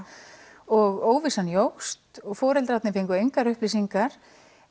og óvissan jókst og foreldrarnir fengu engar upplýsingar